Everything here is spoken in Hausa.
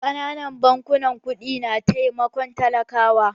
Ƙananan bankunan ƙudi na taimakon talakawa.